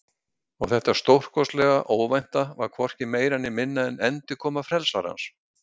Og þetta stórkostlega óvænta var hvorki meira né minna en endurkoma Frelsarans.